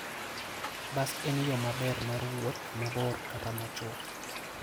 Bas en yo maber mar wuoth mabor kata machwok.